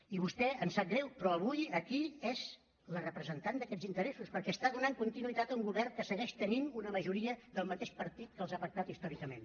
i vostè em sap greu però avui aquí és la representant d’aquests interessos perquè està donant continuïtat a un govern que segueix tenint una majoria del mateix partit que els ha pactat històricament